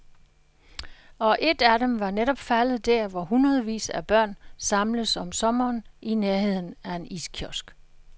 Og et af dem var netop faldet der, hvor hundredvis af børn samles om sommeren i nærheden af en iskiosk.